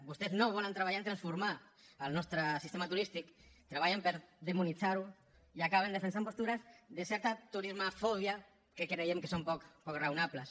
vostès no volen treballar en transformar el nostre sistema turístic treballen per demonitzar lo i acaben defensant postures de certa turismofòbia que creiem que són poc raonables